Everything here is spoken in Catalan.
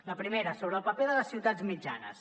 la primera sobre el paper de les ciutats mitjanes